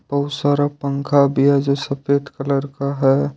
बहुत सारा पंखा भी है जो सफेद कलर का है।